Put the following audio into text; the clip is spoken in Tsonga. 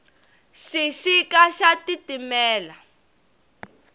xixika xa titimela